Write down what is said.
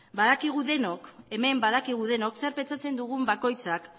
hemen badakigu denok zer pentsatzen dugun bakoitzak